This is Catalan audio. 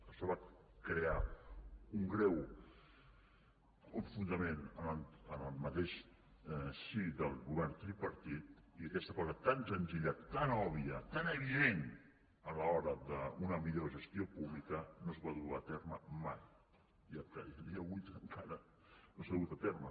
això va crear un greu enfrontament en el mateix si del govern tripartit i aquesta cosa tan senzilla tan òbvia tan evident a l’hora d’una millor gestió pública no es va dur a terme mai i a dia d’avui encara no s’ha dut a terme